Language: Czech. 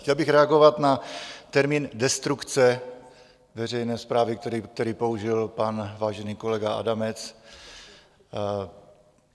Chtěl bych reagovat na termín destrukce veřejné správy, který použil pan vážený kolega Adamec.